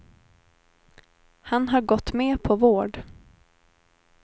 Han har gått med på vård.